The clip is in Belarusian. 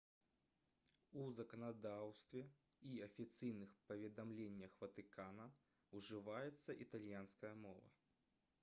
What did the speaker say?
у заканадаўстве і афіцыйных паведамленнях ватыкана ўжываецца італьянская мова